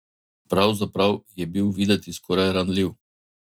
Pravzaprav je bil videti skoraj ranljiv.